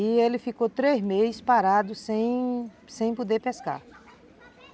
E ele ficou três meses parado sem, sem poder pescar.